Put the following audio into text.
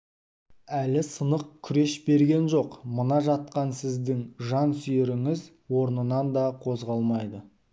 әлі сынық күреш берген жоқ мына жатқан сіздің жан сүйеріңіз орнынан да қозғалмайды